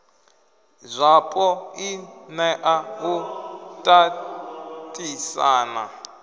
zwapo i nea u tatisana